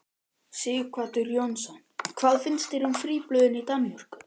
Sighvatur Jónsson: Hvað finnst þér um fríblöðin í Danmörku?